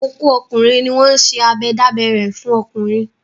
Ọkọ́ ọkùnrin ni wọ́n ń ṣe abẹ dábẹ́ rẹ̀ fún ọkùnrin.